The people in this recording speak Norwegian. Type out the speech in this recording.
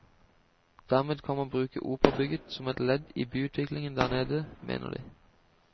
Dermed kan man bruke operabygget som et ledd i byutviklingen der nede, mener de.